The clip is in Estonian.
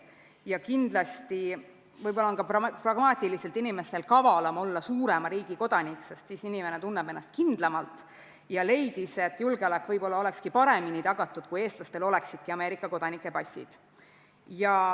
Ta leidis, et võib-olla on ka pragmaatiliselt inimestel kavalam olla suurema riigi kodanik, sest siis inimene tunneb ennast kindlamalt, ja leidis et julgeolek võib-olla olekski paremini tagatud, kui eestlastel oleksidki Ameerika kodanike passid.